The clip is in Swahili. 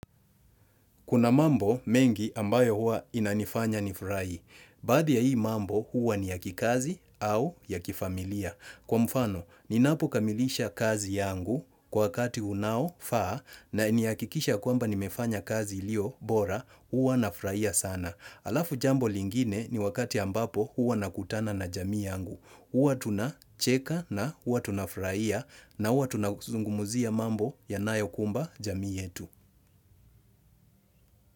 Kuna mambo mengi ambayo hua inanifanya nifurahi. Baadhi ya hii mambo hua ni ya kikazi au ya kifamilia. Kwa mfano, ninapo kamilisha kazi yangu kwa wakati unao faa na nihakikisha kwamba nimefanya kazi ilio bora, hua na furahia sana. Alafu jambo lingine ni wakati ambapo hua nakutana na jamii yangu. Hua tunacheka na hua tunafurahia na hua tunazungumuzia mambo yanayo kumba jamii yetu.